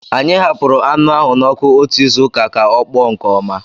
Anyị hapụrụ anụ ahụ n'ọkụ otu izu ka ọ kpọọ nke ọma